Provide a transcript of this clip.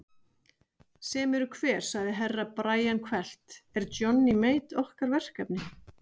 Sem eru hver sagði Herra Brian hvellt, er Johnny Mate okkar verkefni?